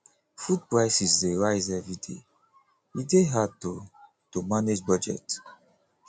food prices dey rise every day e dey hard to to manage budget